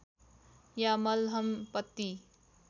या मलहम पट्टी